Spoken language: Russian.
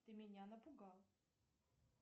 ты меня напугал